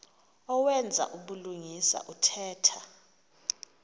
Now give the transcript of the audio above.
owenza ubulungisa othetha